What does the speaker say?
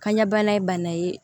Kan ɲɛbana ye bana ye